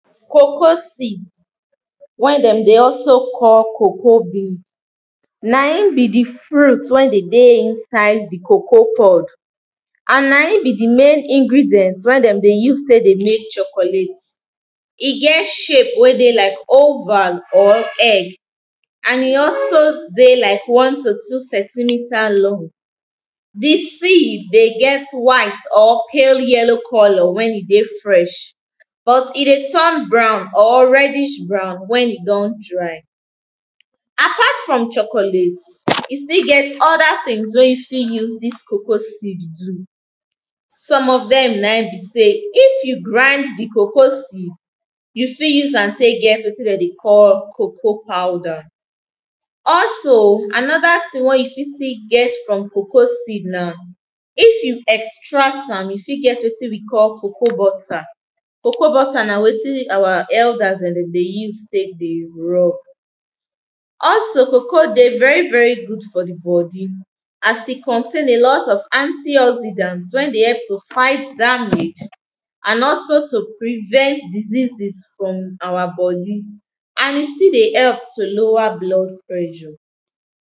Coco seed wey dem dey also call coco bean naim be di fruit wey dey dey inside di coco pod and naim be di main ingredient dey dey use take dey make chocolate, e get shape like oval or egg and e also dey like one to two centimeter long, di seed dey get white or pale yellow colour wen e dey fresh but e dey turn brown or reddish brown wen e don dry. Apart from chocolate e still get oda tins wey you fit use dis coco seed do, some of dem naim be sey if you grand di coco seed, you fit use am take get wetin dem dey call coco powder, also anoda tin wey you fit still get from coco seed na if you extract am you fit get wetin we call coco butter. Coco na wetin our elders dem dey use take dey rub, also coco dey very good for di body as e contain alot of antiauxidant wey dey help to fight damage and also to prevent diseases from our body and e still dey help to lower blood pressure.